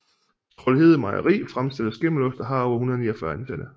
Troldhede Mejeri fremstiller skimmelost og har over 149 ansatte